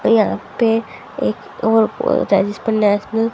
यहां पे एक और जिसपर नेशनल --